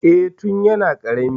Eh, tun yana ƙarami.